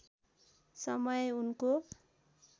समय उनको